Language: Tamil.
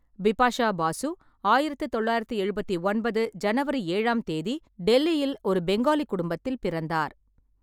பிபாஷா பாசு, ஆயிரத்து தொள்ளாயிரத்து எழுபத்தி ஒன்பது ஜனவரி ஏழாம் தேதிடெல்லியில் ஒரு பெங்காலி குடும்பத்தில் பிறந்தார்.